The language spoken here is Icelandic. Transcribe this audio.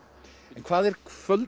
hvað er